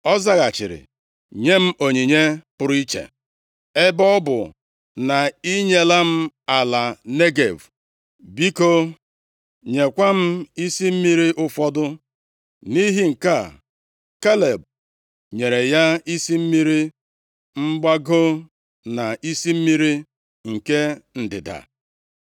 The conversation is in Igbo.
Ọ zaghachiri, “Nyem onyinye pụrụ iche. Ebe ọ bụ na i nyela m ala Negev, biko nyekwa m isi mmiri ụfọdụ.” Nʼihi nke a, Kaleb nyere ya isi mmiri mgbago na isi mmiri nke ndịda.